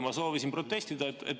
Ma soovisin protestida.